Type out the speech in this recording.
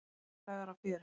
Tveir dagar af fjöri.